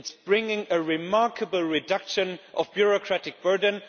It is bringing a remarkable reduction of bureaucratic burden.